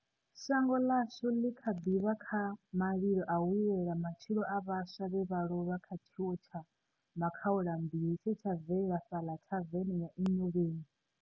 Shango ḽashu ḽi kha ḓi vha kha malilo a u lilela matshilo a vhaswa vhe vha lovha kha tshiwo tsha makhaulambilu tshe tsha bvelela fhaḽa thaveni ya Enyobeni.